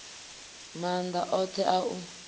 na maanḓa oṱhe a u